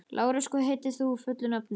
Lárus, hvað heitir þú fullu nafni?